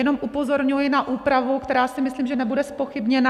Jenom upozorňuji na úpravu, která, si myslím, že nebude zpochybněna.